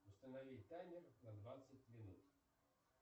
установи таймер на двадцать минут